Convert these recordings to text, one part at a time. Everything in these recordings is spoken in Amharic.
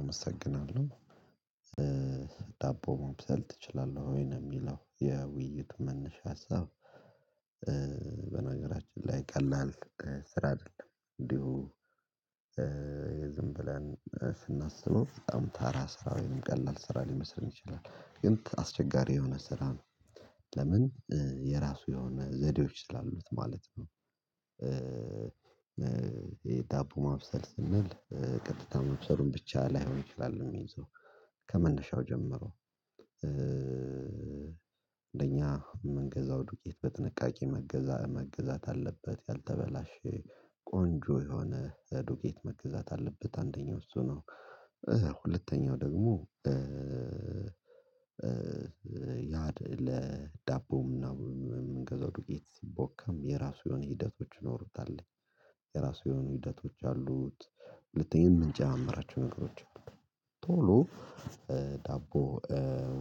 አመሰግናለሁ ዳቦ ማብሰል ትችላለህ ወይ? ነው እሚለው የውይይት መነሻ ሀሳብ በነገራችን ላይ ቀላል ስራ አይደለም። እንዲሁ ዝም ብለን ስናስበው በጣም ተራ ስራ ወይም ቀላል ስራ ሊመስለኝ ይችላል ግን አስቸጋሪ የሆነ ስራ ነው ለምን የራሱ የሆነ ዘዴዎች ስላሉት ማለት ነው። የዳቦ ማብሰል ስንል ቀጥታ መብሰሉን ብቻ ላይሆን ይችላል እሚይዘው ከመነሻው ጀመሮ እንደኛ እምንገዛው ዱቄት በጥንቃቄ መገዛት አለበት ያልተበላሸ ቆንጆ የሆነ ዱቄት መገዛት አለበት አንደኛው እሱ ነው። ሁለተኛው ደግሞ ያድ ለዳቦ እምንገዛው ዱቄት ሲቦካም የራሱ የሆኑ ሂደቶች ይኖሩታል የራሱ የሆኑ ሂደቶች አሉት። ሁለተኛ እምንጨማምራቸው ነገሮች አሉ ዳቦ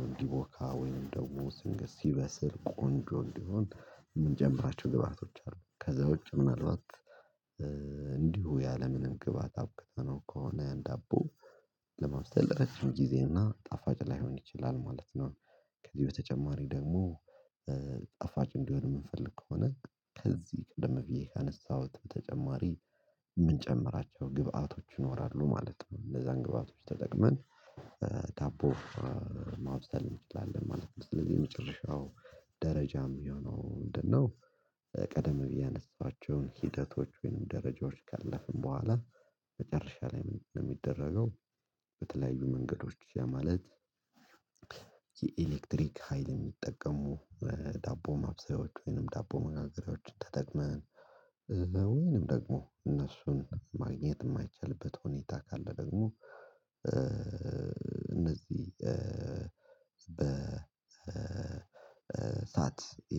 እንዲቦካ ወይንም ደግሞ ሲበስል ቆንጆ እንዲሆን እምንጨምራቸው ግብአቶች አሉ ከዛ ውጪ ምናልባት እንዲሁ ያለምንም ግባት አብቅተነው ከሆነ ዳቦ ለመውሰድ ረጅም ጊዜ እና ጣፋጭ ላይሆን ይችላል ማለት ነው። ከዚህ በተጨማሪ ደግሞ ጣፋጭ እንዲሆን የምንፈልግ ከሆነ ከዚህ ቀደም ብዬ ካነሳሁት በተጨማሪ የምንጨምራቸው ግብአቶች ይኖራሉ ማለት ነው እንደዛ አንግባቶች ተጠቅመን ዳቦ ማብሰል እንችላለን ማለት ነው። ስለዚህ የመጨረሻው ደረጃ የሆነው ምንድነው ቀደም ብዬ ያነሷቸውን ሂደቶች ወይንም ደረጃዎች ጋለፍን በኋላ መጨረሻ ላይ ምን ነው የሚደረገው? በተለያዩ መንገዶች ያ ማለት የኤሌክትሪክ ሀይል የሚጠቀሙ ዳቦ ማብሰያዎች ወይንም ዳቦ መጋገሬያዎችን ተጠቅመን ወይንም ደግሞ እነሱን ማግኘት የማይቻልበት ሁኔታ ካለ ደግሞ እነዚህ በሳት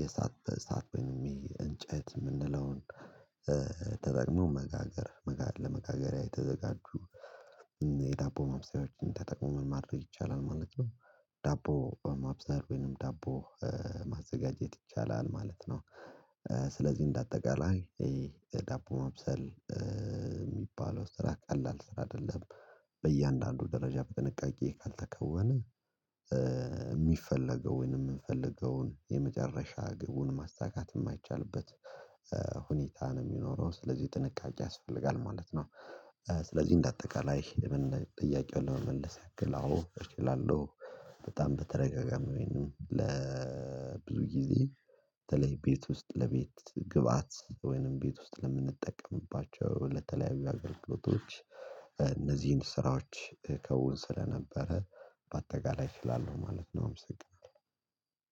የሳት ሳት ወይንም የእንጨት የምንለውን ተጠቅሞ መጋገር መጋገር ለመጋገሪያ የተዘጋጁ የዳቦ ማብሰያዎችን ተጠቅሞ ማድረግ ይቻላል ማለት ነው። ዳቦ ማብሰል ወይንም ዳቦ ማዘጋጀት ይቻላል ማለት ነው። ስለዚህ እንደ አጠቃላይ ዳቦ ማብሰል የሚባለው ስራ ቀላል ስራ አይደለም። በእያንዳንዱ ደረጃ በጥንቃቄ ካልተከወነ የሚፈለገውን የምንፈልገውን የመጨረሻ ግቡን ማስተካከል የማይቻልበት ሁኔታ ነው የሚኖረው ስለዚህ ጥንቃቄ ያስፈልጋል ማለት ነው። ስለዚህ እንደ አጠቃላይ ጥያቄውን ለመመለስ ያክል አዎ እችላለሁ በጣም በተደጋጋሚ ወይንም ለብዙ ጊዜ በተለይ ቤት ውስጥ ለቤት ግብአት ወይንም ቤት ውስጥ ለምንጠቀምባቸው ለተለያዩ አገልግሎቶች እነዚህን ስራዎች እከዉን ስለነበረ በአጠቃላይ እችላለሁ ማለት ነው። አመሰግናለሁ